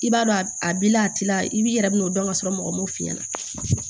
I b'a dɔn a b'i la a t'i la i b'i yɛrɛ bin'o dɔn ka sɔrɔ mɔgɔ m'o f'i ɲɛna